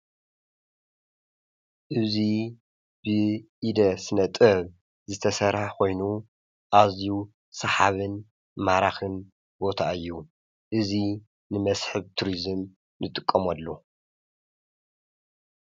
እዙይ ብኢደ ስነጥበብ ዝተሠርሐ ኾይኑ ኣዝዩ ሰሓብን ማራኽን ቦታ ዩ እዙይ ንመስሕብ ቱርዝም ንጥቆምሉ።